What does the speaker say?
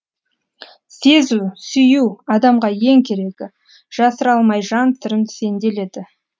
сезу сүю адамға ең керегі жасыра алмай жан сырын сенделеді